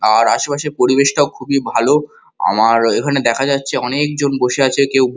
আর আশেপাশের পরিবেশটাও খুবই ভালো আমার এখানে দেখা যাচ্ছে অনেক জন বসে আছে কেউ ব--